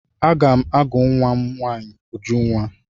Aga m agụ nwa m nwaanyi Ujunwa.